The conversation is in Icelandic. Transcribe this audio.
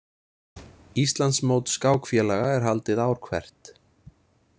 Íslandsmót skákfélaga er haldið ár hvert.